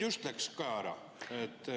Just nüüd läks Kaja ära.